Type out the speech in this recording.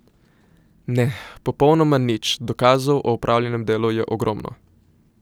Ne, popolnoma nič, dokazov o opravljenem delu je ogromno.